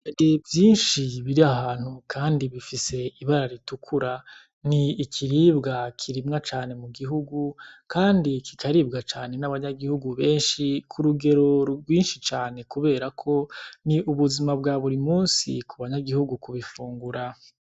Ibiharage vyinshi biri ahantu kandi bifise ibara ritukura, n'ikiribwa kirimwa cane mu gihugu, kandi kikaribwa cane n'abanyagihugu benshi k'urugero rwinshi cane kubera ko n'ubuzima bwa buri musi ku banyagihugu kubifungura.